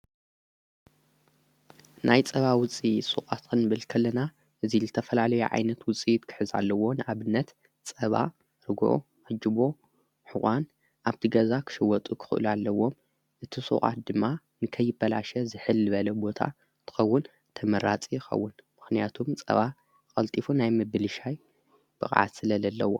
ናይ ጸባ ውፂት ሱቃትን ክንብል ከለና እዙይ ዝተፈላለዩ የዓይነት ውፂኢት ፃባ ክሕዛ ኣለዎ ንኣብነት ጸባ ርጐኦ ሕጅቦ እዋን ኣብቲ ገዛ ኽሽወጡ ኽኽእሉ ኣለዎም እቲ ሥዉዓት ድማ ንከይበላሸ ዝሕል በለ ቦታ ጥኸውን ተመራጺ ኸውን ምኽንያቱም ጸባ ቐልጢፉ ናይ ምብሊሻይ ብቓዓ ስለለ ኣለዎ።